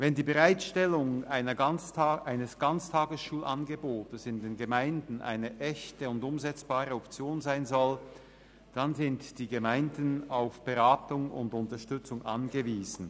Wenn die Bereitstellung eines Ganztagesschulangebotes in den Gemeinden eine echte und umsetzbare Option sein soll, dann sind die Gemeinden auf Beratung und Unterstützung angewiesen.